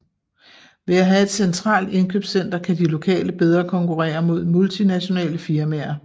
Ved at have et centralt indkøbscenter kan de lokale bedre konkurrere mod multinationale firmaer